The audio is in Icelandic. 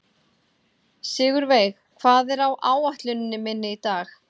Sigurveig, hvað er á áætluninni minni í dag?